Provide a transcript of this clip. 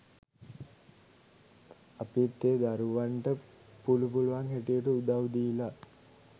අපිත් ඒ දරුවන්ට පුලු පුලුවන් හැටියට උදව් දීලා